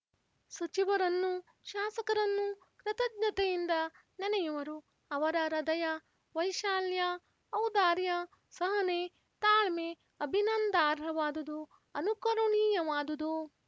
ಸಚಿವರನ್ನು ಶಾಸಕರನ್ನು ಕೃತಜ್ಞತೆಯಿಂದ ನೆನೆಯುವರು ಅವರ ಹ್ರದಯ ವೈಶಾಲ್ಯ ಔದಾರ್ಯ ಸಹನೆ ತಾಳ್ಮೆ ಅಭಿನಂದಾರ್ಹವಾದುದು ಅನುಕರಣೀಯವಾದುದು